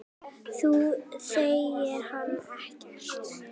Þú þekkir hann ekkert.